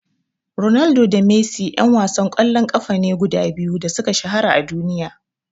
Ronaldo da Messi ƴan wasan ƙwallon ƙafa ne guda biyu da suka shahara a duniya.